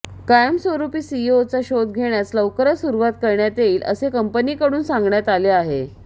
कायमस्वरुपी सीईओचा शोध घेण्यास लवकरच सुरवात करण्यात येईल असे कंपनीकडून सांगण्यात आले